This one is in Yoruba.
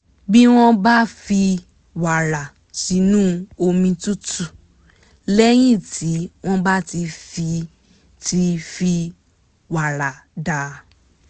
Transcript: bí wọ́n bá fi wàrà sínú omi tútù lẹ́yìn tí wọ́n bá ti fi ti fi wàrà dà